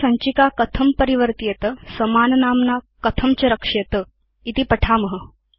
अथ सञ्चिका कथं परिवर्त्येत समाननाम्ना कथं च रक्ष्येत इति पठेम